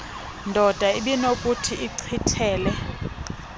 ndoda ibinokuthi ichithele